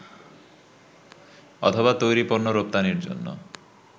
অথবা তৈরি পণ্য রপ্তানির জন্য